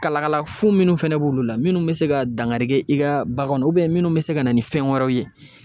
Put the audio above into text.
Kalakala fu minnu fɛnɛ b'olu la minnu be se ka dangari kɛ i ka baganw na ubiyɛn minnu be se ka na ni fɛn wɛrɛw ye